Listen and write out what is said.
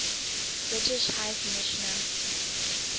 british high commissioner